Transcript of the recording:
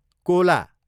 Cola